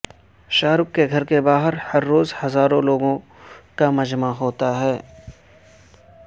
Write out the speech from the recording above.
شاہ رخ کے گھر کے باہر ہر روز ہزاروں لوگوں کا مجمع ہوتا ہے